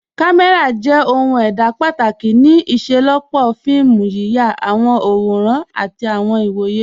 Kàmẹ́ra jẹ̀ ohun èdá pátákì ní ìṣẹ̀lọpọ́ fíìmù, yíyà àwọn àwòrán àtì àwọn ìwọ̀yẹ̀.